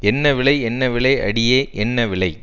என்ன விலை என்ன விலை அடியே என்ன விலை